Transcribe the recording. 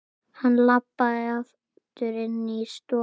Hann labbaði aftur inní stofu.